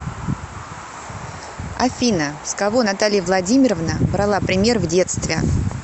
афина с кого наталья владимировна брала пример в детстве